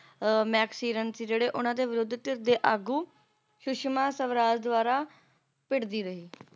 maxiran ਸੀ ਜਿਹੜੇ ਉਹਨਾਂ ਦੇ ਵਿਰੋਧਕ ਦੇ ਆਗੂ ਸੁਸ਼ਮਾ ਸਵਰਾਜ ਦੁਆਰਾ ਭਿੜਦੀ ਰਹੀ